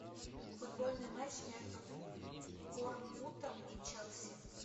футбольный матч между борнмутом и челси